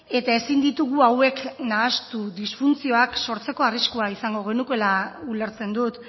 eta ezin ditugu hauek nahastu disfuntzioak sortzeko arriskua izango genukeela ulertzen dut